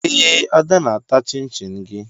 Ee, Ada na-ata chịn-chịn gị